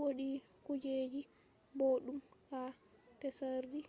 wodi kujeji boɗɗum ha tsari